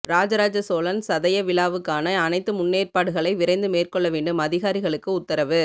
ராஜராஜசோழன் சதய விழாவுக்கான அனைத்து முன்னேற்பாடுகளை விரைந்து மேற்கொள்ள வேண்டும் அதிகாரிகளுக்கு உத்தரவு